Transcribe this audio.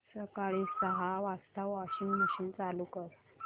सकाळी सहा वाजता वॉशिंग मशीन चालू कर